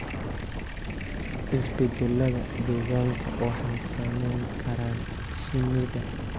Isbeddellada deegaanka waxay saameyn karaan shinnida.